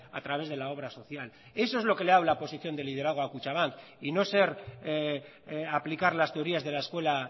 a través de la obra social eso es lo que le ha dado la posición de liderazgo a kutxabank y no ser aplicar las teorías de la escuela